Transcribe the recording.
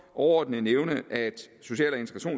overordnet nævne at social